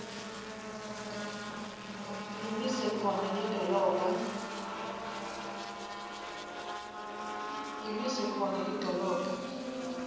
imise khona lidolobha